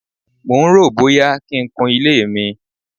mò ń ròó bóyá kí n kun ilé mi.